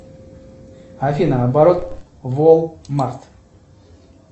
афина оборот волмарт